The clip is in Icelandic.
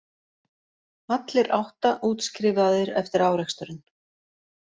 Allir átta útskrifaðir eftir áreksturinn